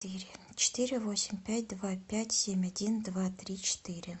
четыре восемь пять два пять семь один два три четыре